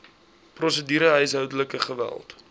prosedure huishoudelike geweld